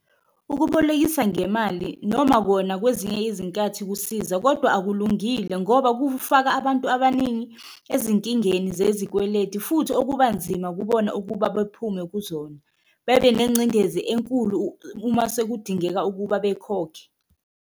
Okubolekisa ngemali noma kona kwezinye izinkathi kusiza kodwa akulungile ngoba kufaka abantu abaningi ezinkingeni zezikweleti, futhi okuba nzima kubona ukuba bephume kuzona, bebe nengcindezi enkulu uma sekudingeka ukuba bekhokhe.